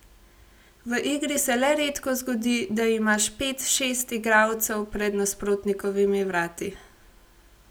V igri se le redko zgodi, da imaš pet, šest igralcev pred nasprotnikovimi vrati.